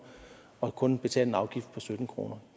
og kun betale en afgift på sytten kroner